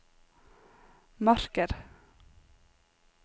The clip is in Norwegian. marker